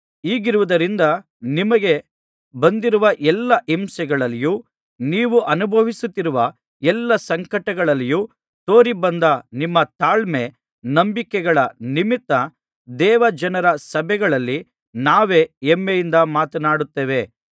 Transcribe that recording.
ಹೀಗಿರುವುದರಿಂದ ನಿಮಗೆ ಬಂದಿರುವ ಎಲ್ಲಾ ಹಿಂಸೆಗಳಲ್ಲಿಯೂ ನೀವು ಅನುಭವಿಸುತ್ತಿರುವ ಎಲ್ಲಾ ಸಂಕಟಗಳಲ್ಲಿಯೂ ತೋರಿಬಂದ ನಿಮ್ಮ ತಾಳ್ಮೆ ನಂಬಿಕೆಗಳ ನಿಮಿತ್ತ ದೇವ ಜನರ ಸಭೆಗಳಲ್ಲಿ ನಾವೇ ಹೆಮ್ಮೆಯಿಂದ ಮಾತನಾಡುತ್ತೇವೆ